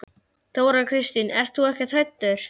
Þóra Kristín: En þú ert ekkert hræddur?